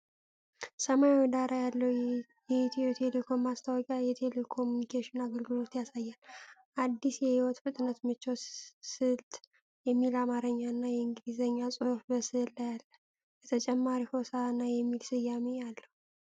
ሰማያዊ ዳራ ያለው የኢትዮ ቴሌኮም ማስታወቂያ የቴሌኮሙኒኬሽን አገልግሎትን ያሳያል። "አዲስ የሕይወት ፍጥነት ምቾት ስልት" የሚል አማርኛ እና የእንግሊዝኛ ጽሑፍ በስዕሉ ላይ አለ። በተጨማሪም "ሆሣዕና" የሚል ስያሜ አለው።